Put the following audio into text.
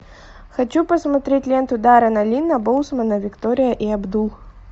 хочу посмотреть ленту даррена линна боусмана виктория и абдул